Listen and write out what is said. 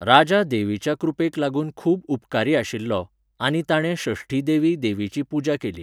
राजा देवीच्या कृपेक लागून खूब उपकारी आशिल्लो आनी ताणें षष्ठी देवी देवीची पुजा केली.